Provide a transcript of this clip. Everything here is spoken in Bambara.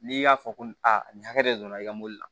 N'i y'a fɔ ko aa nin hakɛ de donna i ka mɔbili la